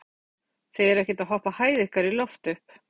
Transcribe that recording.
Kristján Már Unnarsson: Þið eruð ekkert að hoppa hæð ykkar í loft upp?